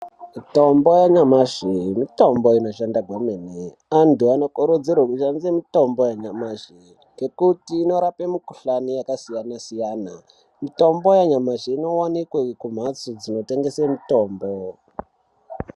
Mitombo yanyamashi mitombo inoshanda kwemene. Antu anokurudzirwe kushandisa mitombo yanyamashi ngekuti inorape mukhuhlani yakasiyana-siyana. Mitombo yanyamashi inowanikwe kumhatso dzinotengese mutombo.